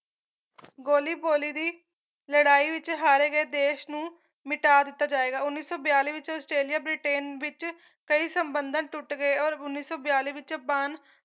ਗੋਲੀ ਪੋਲੀ ਦੀ ਲੜਾਈ ਵਿੱਚ ਹਰ ਗਏ ਦੇਸ਼ ਨੂੰ ਮਿਟਾ ਦਿੱਤਾ ਜਾਏਗਾ ਉੱਨੀ ਸੌ ਬਿਆਲੀ ਵਿੱਚ ਆਸਟ੍ਰੇਲੀਆ ਬ੍ਰਿਟੇਨ ਵਿੱਚ ਕਈ ਸੰਬੰਧਨ ਟੁੱਟ ਗਏ ਔਰ ਉੱਨੀ ਸੌ ਬਿਆਲੀ ਵਿੱਚ ਬਾਨ